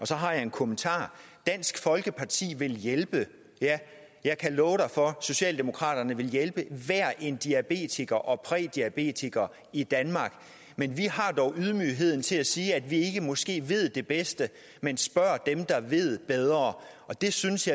så har jeg en kommentar dansk folkeparti vil hjælpe ja jeg kan love for at socialdemokraterne vil hjælpe hver en diabetiker og prædiabetiker i danmark men vi har dog ydmygheden til at sige at vi måske ikke ved det bedst men spørger dem der ved bedre jeg synes